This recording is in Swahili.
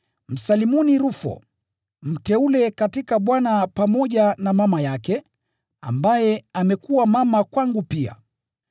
Msalimuni Rufo, mteule katika Bwana, pamoja na mama yake, ambaye amekuwa mama kwangu pia.